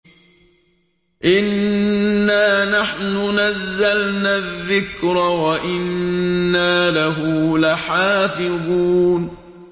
إِنَّا نَحْنُ نَزَّلْنَا الذِّكْرَ وَإِنَّا لَهُ لَحَافِظُونَ